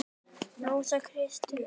Rósa Karin.